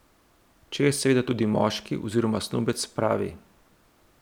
Če je seveda tudi moški oziroma snubec pravi.